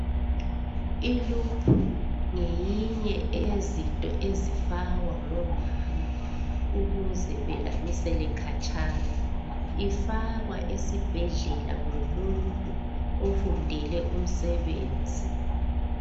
I"loop" ngeyinye eyezinto ezifakwa ngomama ukuze belamisele khatshana. Ifakwa esibhedlela ngumuntu ofundele umsebenzi.